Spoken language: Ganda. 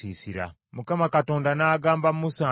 Mukama Katonda n’agamba Musa nti,